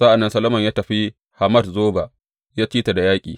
Sa’an nan Solomon ya tafi Hamat Zoba ya ci ta da yaƙi.